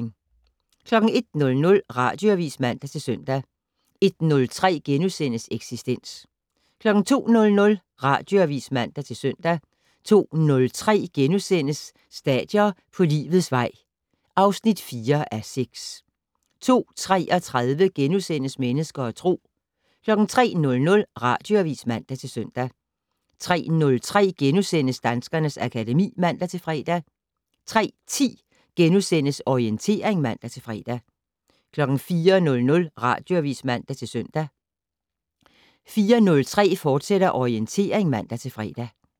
01:00: Radioavis (man-søn) 01:03: Eksistens * 02:00: Radioavis (man-søn) 02:03: Stadier på livets vej (4:6)* 02:33: Mennesker og Tro * 03:00: Radioavis (man-søn) 03:03: Danskernes akademi *(man-fre) 03:10: Orientering *(man-fre) 04:00: Radioavis (man-søn) 04:03: Orientering, fortsat (man-fre)